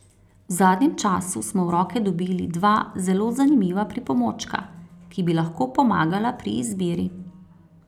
V zadnjem času smo v roke dobili dva zelo zanimiva pripomočka, ki bi lahko pomagala pri izbiri.